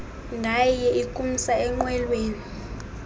ngaye ukumsa enqwelweni